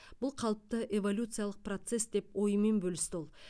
бұл қалыпты эволюциялық процесс деп ойымен бөлісті ол